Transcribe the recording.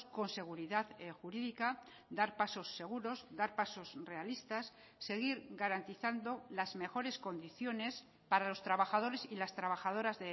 con seguridad jurídica dar pasos seguros dar pasos realistas seguir garantizando las mejores condiciones para los trabajadores y las trabajadoras